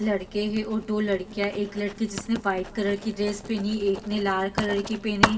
लड़के हैं और दो लड़कियां एक लड़की जिसने व्हाइट कलर की ड्रेस पहनी एक ने लाल कलर की पेन्ही --